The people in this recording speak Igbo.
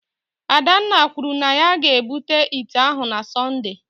Adanna kwuru na ya ga-ebute ite ahụ na Sọnde